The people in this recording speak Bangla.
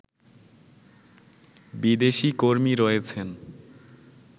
বিদেশি কর্মী রয়েছেন